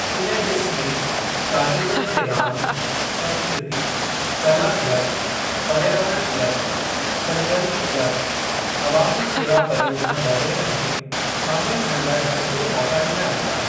इन डि॒स में शागिर्दनि खे रांदि, संस्कृती, कला क्लब, पर्यावरण क्लब, सरगर्मी क्लब, अवामी शेवा परियोजना वगै़रह में शामिल थियण लाइ भरपूर मौका डि॒ना वेंदा।